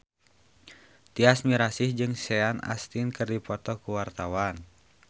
Tyas Mirasih jeung Sean Astin keur dipoto ku wartawan